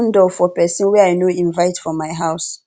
i no dey open door for pesin wey i no invite for my house